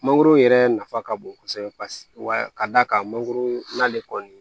Mangoro yɛrɛ nafa ka bon kosɛbɛ paseke ka d'a kan mangoro n'ale kɔni